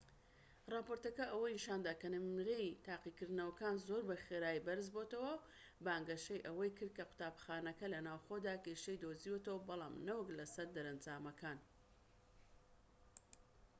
ڕاپۆرتەکە ئەوەی نیشاندا کە نمرەی تاقیکردنەوەکان زۆر بە خێرایی بەرز بۆتەوە و بانگەشەی ئەوەی کرد کە قوتابخانەکە لە ناوخۆدا کێشەی دۆزیوەتەوە بەڵام نەوەک لە سەر دەرەنجامەکان